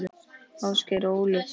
Ásgeir og Ólöf.